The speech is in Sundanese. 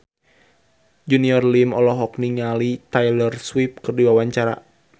Junior Liem olohok ningali Taylor Swift keur diwawancara